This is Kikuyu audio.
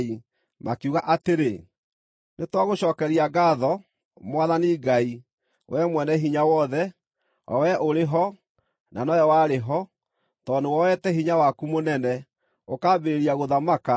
makiuga atĩrĩ: “Nĩtwagũcookeria ngaatho, Mwathani Ngai, Wee Mwene-Hinya-Wothe, o Wee ũrĩ ho, na nowe warĩ ho, tondũ nĩwoete hinya waku mũnene, ũkambĩrĩria gũthamaka.